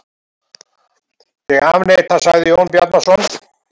Ég afneita, sagði Jón Bjarnason.